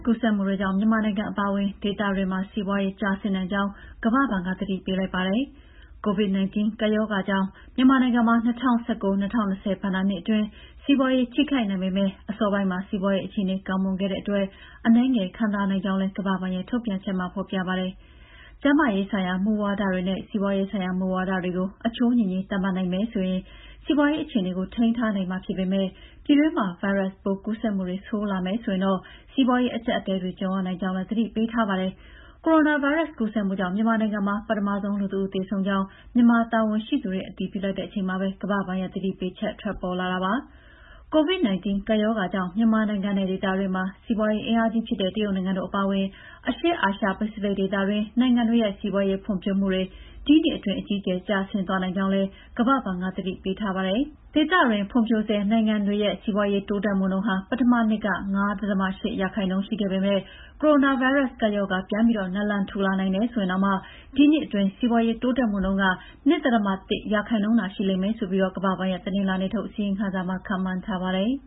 ကူးစက်မှုတွေကြောင့် မြန်မာနိုင်ငံအပါအဝင် ဒေသတွင်းမှာ စီးပွားရေး ကျဆင်းနိုင်ကြောင်း ကမ္ဘာ့ဘဏ်က သတိပေးလိုက်ပါတယ်။ COVID-19 ကပ်ရောဂါကြောင့် ြမန်မာနိုင်ငံမှာ ၂၀၁၉-၂၀၂၀ ဘဏ္ဍာနှစ်အတွင်း စီးပွားရေး ထိခိုက်နိုင်ပေမဲ့ အစောပိုင်းမှာ စီးပွားရေးအခြေအနေ ကောင်းမွန်ခဲ့တဲ့အတွက် အနည်းငယ် ခံသာနိုင်ကြောင်းလည်း ကမ္ဘာ့ဘဏ်ရဲ့ ထုတ်ပြန်ချက်က ဖော်ပြပါတယ်။ ကျန်းမာရေးဆိုင်ရာ မူဝါဒတွေနဲ့ စီးပွားရေးဆိုင်ရာ မူဝါဒတွေကို အချိုးညီညီ သတ်မှတ်နိုင်မယ်ဆိုရင် စီးပွားရေး အခြေအနေကို ထိန်းထားနိုင်မှာ ဖြစ်ပေမဲ့ ပြည်တွင်းမှာ ဗိုင်းရပ်စ်ကူးစက်မှုတွေ ပိုဆိုးလာမယ်ဆိုရင်တော့ စီးပွားရေး အကျပ်အတည်းတွေ ကြုံရနိုင်ကြောင်းလည်း သတိပေးထားပါတယ်။ ကိုရိုနာဗိုင်းရပ်စ် ကူးစက်မှုကြောင့် မြန်မာနိုင်ငံမှာ ပထမဆုံး လူတဦးသေဆုံးကြောင်း မြန်မာတာဝန်ရှိသူတွေ အတည်ပြုလိုက်တဲ့ အချိန်မှာပဲ ကမ္ဘာ့ဘဏ်ရဲ့ သတိပေးချက် ထွက်ပေါ်လာတာပါ။ COVID-19 ကပ်ရောဂါကြောင့် မြန်မာနိုင်ငံနဲ့ ဒေသတွင်းမှာ စီးပွားရေး အင်အားကြီးဖြစ်တဲ့ တရုတ်နိုင်ငံတို့ အပါအဝင် အရှေ့အာရှပစိဖိတ်ဒေသတွင်း နိုင်ငံတွေရဲ့ စီးပွားရေးဖွံ့ဖြိုးမှုတွေ ဒီနှစ်အတွင်း အကြီးအကျယ် ကျဆင်းသွားနိုင်ကြောင်းလည်း ကမ္ဘာ့ဘဏ်က သတိပေးထားပါတယ်။ ဒေသတွင်းက ဖွံ့ဖြိုးဆဲ နိုင်ငံတွေရဲ့ စီးပါွးရေး တိုးတက်မှုနှုန်းဟာ မနှစ်က ၅.၈ ရာခိုင်နှုန်း ရှိခဲပေမဲ့ ကိုရိုနာဗိုင်းရပ်စ် ကပ်ရောဂါပြန်ပြီး နာလန်ထူလာနိုင်တယ်ဆိုရင်တောင်မှ ဒီနှစ်အတွင်း စီးပါွးရေး တိုးတက်မှုနှုန်းက ၂.၁ ရာခိုင်နှုန်းသာ ရှိလိမ့်မယ်ဆိုပြီး ကမ္ဘာ့ဘဏ်ရဲ့ တနင်္လာနေ့ထုတ် အစီရင်ခံစာမှာ ခန့်မှန်းထားပါတယ်။